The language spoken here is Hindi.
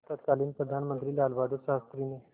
तत्कालीन प्रधानमंत्री लालबहादुर शास्त्री ने